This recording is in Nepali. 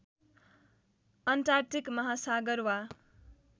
अन्टार्कटिक महासागर वा